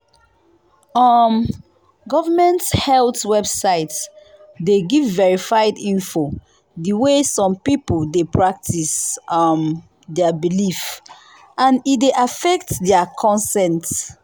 um government health website dey give verified info the way some people dey practice um their belief and e dey affect their consent.